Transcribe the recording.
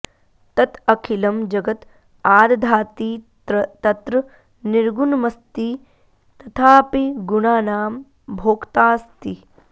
तत् अखिलं जगत् आदधाति तत्र निर्गुणमस्ति तथापि गुणानां भोक्ताऽस्ति